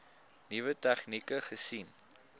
nuwe tegnieke gesien